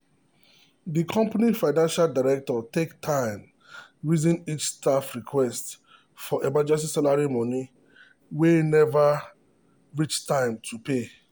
the company financial director take time reason each staff request for emergency salary money wey never reach time to pay.